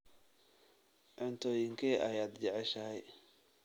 Cuntooyinkee ayaad jeceshahay?